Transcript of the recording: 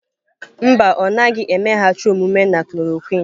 Mba, ọ naghị emeghachi omume na chloroquine.